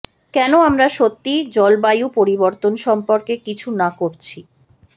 কেন আমরা সত্যিই জলবায়ু পরিবর্তন সম্পর্কে কিছু না করছি